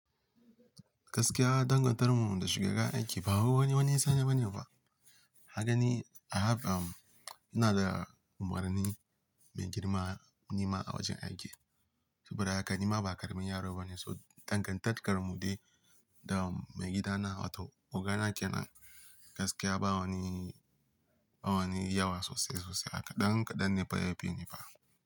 Gaskiya dangantarmu da shugaban aiki ba wai wani wani sani bane ba. Kaga ni, I have, um, ina da umarni mai girma, nima a wajen aiki. Sabida haka nima ba ƙaramin yaro bane, so dangantakar mu dai da maigidana, wato ogana kenan. Gaskiya ba wani, ba wani yawa sosai sosai haka ɗan kaɗan ne fa yafi ni fa.